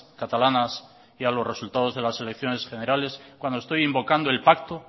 catalanas y a los resultados de las elecciones generales cuando estoy invocando el pacto